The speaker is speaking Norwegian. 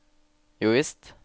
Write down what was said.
jovisst